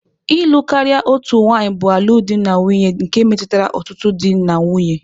Ịlụ karịa otu nwanyị bụ alụmdi na nwunye nke metụtara ọtụtụ di na nwunye.